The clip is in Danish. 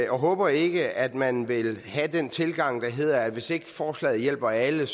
og håber ikke at man vil have den tilgang der hedder at hvis ikke forslaget hjælper alle